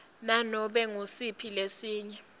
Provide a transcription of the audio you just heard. nanobe ngusiphi lesinye